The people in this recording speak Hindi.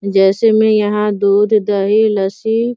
जैसे में यहाँ दूध दही लस्सी --